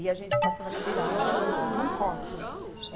E a gente passava na beirada de um córrego.